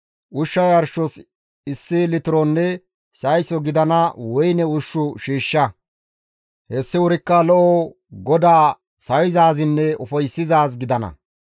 Ushsha yarshos issi litironne sayso gidiza woyne ushshu shiishsha; hessi wurikka lo7o GODAA sawizaazinne ufayssizaaz gidana;